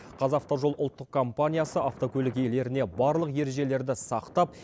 қазавтожол ұлттық компаниясы автокөлік иелеріне барлық ережелерді сақтап